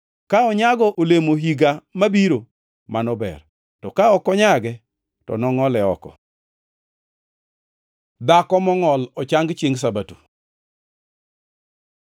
Ka onyago olemo higa mabiro, mano ber, to, ka ok onyago, to nongʼole oko.’ ” Dhako mongʼol ochang chiengʼ Sabato